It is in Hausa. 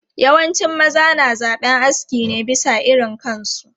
Yawancin maza na zaben aski ne bisa irin kansu.